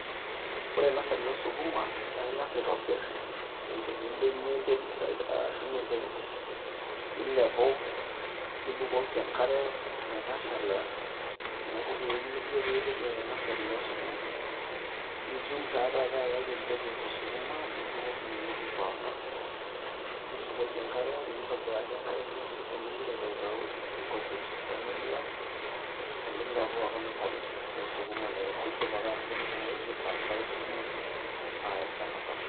Ore nasari oosukuma, naake ing'asa aitobir enkiti bene enterit, ashum enterit milepu nibukoki enkare metashala inakiti wueji nijo piipik ina nasari oosukuma, nitum taa taata ayau empegu esukuma nibukoki inewueji aipaang'a, nibukoki enkare, nintobiraki enkare kila siku ning'ira aitautau inkujit pee mebulaki omilepu aaku nasari oosukuma naa kidip atubulu tinewueji nitransfai sukuma aaya olchamba sapuk.